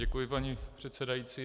Děkuji, paní předsedající.